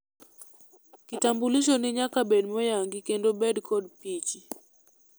kitambulisho ni nyaka bed moyangi kendo bed kod pichi